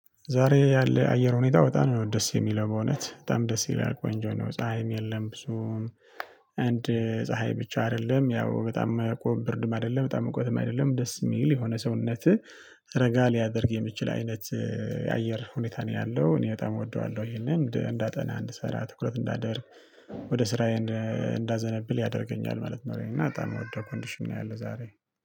ዛሬ ያለ አየር ሁኔታ በጣም ነው ደስ የሚለው በእውነት በጣም ደስ ይላል ቆንጆ ነው ፀሀይም የለም። ብዙም አንድ ፀሀይ ብቻ አይደለም ያው በጣም ብርድም አይደለም በጣም ሙቀትም አይደለም ደስ የሚል የሆነ ሰውነትህ ረጋ ሊያደርግ የሚችል አይነት የአየር ሁኔታ ነው ያለው። እኔ በጣም እወደዋለሁ ይሄንን እንዳጠና እንድሰራ ትኩረት እንዳደርግ ወደ ስራዬን እንዳዘነብል ያደርገኛል ማለት ነው። እና በጣም የምወደው ኮንዲሽን ነው ያለው ዛሬ